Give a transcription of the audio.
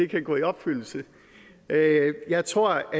kan gå i opfyldelse jeg tror